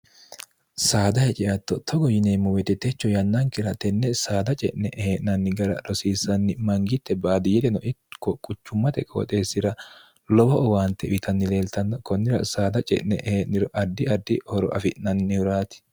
saada heceatto togo yineemmo wetitecho yannankira tenne saada ce'ne ehee'nanni gara rosiissanni mangitte baadi yedeno itko quchummate kooxeessira lowo owaante witannileeltanno konnira saada ce'ne ehee'niro addi addi horo afi'nannihuraati